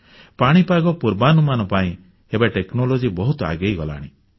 ପାଣିପାଗ ପୂର୍ବାନୁମାନ ପାଇଁ ଏବେ ପ୍ରଯୁକ୍ତି କୌଶଳ ବା ଟେକ୍ନୋଲଜି ବହୁତ ଆଗେଇଗଲାଣି